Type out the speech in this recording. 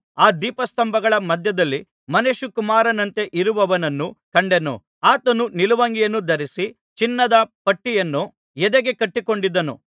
ಆ ದೀಪಸ್ತಂಭಗಳ ಮಧ್ಯದಲ್ಲಿ ಮನುಷ್ಯಕುಮಾರನಂತೆ ಇರುವವನನ್ನೂ ಕಂಡೆನು ಆತನು ನಿಲುವಂಗಿಯನ್ನು ಧರಿಸಿ ಚಿನ್ನದ ಪಟ್ಟಿಯನ್ನು ಎದೆಗೆ ಕಟ್ಟಿಕೊಂಡಿದ್ದನು